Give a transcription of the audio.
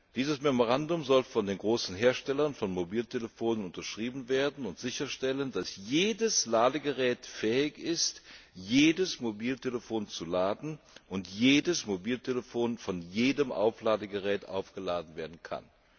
Dieses Memorandum soll von den großen Herstellern von Mobiltelefonen unterschrieben werden und sicherstellen, dass jedes Ladegerät fähig ist, jedes Mobiltelefon zu laden, und jedes Mobiltelefon von jedem Aufladegerät aufgeladen werden kann.